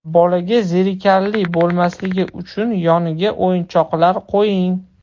Bolaga zerikarli bo‘lmasligi uchun yoniga o‘yinchoqlar qo‘ying.